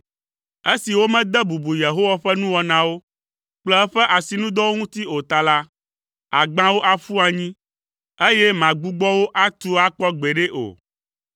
Esi womede bubu Yehowa ƒe nuwɔnawo kple eƒe asinudɔwo ŋuti o ta la, àgbã wo aƒu anyi, eye màgbugbɔ wo atu akpɔ gbeɖe o.